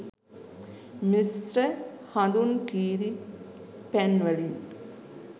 මිශ්‍ර හඳුන් කිරී පැන්වලින්